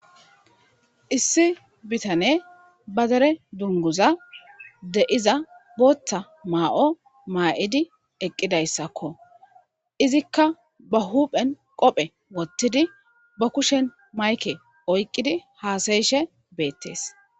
issi bitane ba dere dunguza de7iza booththa maa7o maa7idi eqqidayssakko izikka ba huphen qophe wottidi ba kushen mayke oyqqidi haasayishe beettes